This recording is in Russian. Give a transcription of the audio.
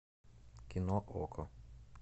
кино окко